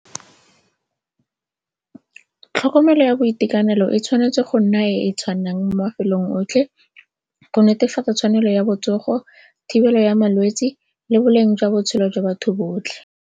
Tlhokomelo ya boitekanelo e tshwanetse go nna e e tshwanang mo mafelong otlhe go netefatsa tshwanelo ya botsogo, thibelo ya malwetse le boleng jwa botshelo jwa batho botlhe.